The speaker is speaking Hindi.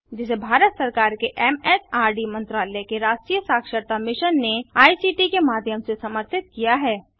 जिसे भारत सरकार के एमएचआरडी मंत्रालय के राष्ट्रीय साक्षरता मिशन ने आई सीटी के माध्यम से समर्थित किया है